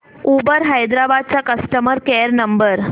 Uber Hyderabad चा customer care number